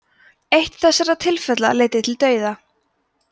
eitt þessara tilfella leiddi til dauða